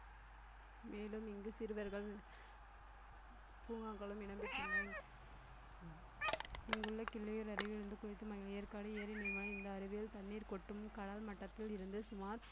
மேலும் இங்கு சிறுவர்கள் பூங்காக்களும் இடம் பெற்றுள்ளன இங்குள்ள கிள்ளியூர் அருவியில் குளித்து இந்த அருவியில் தண்ணீர் கொட்டும் கடல் மட்டத்தில் இருந்து சுமார்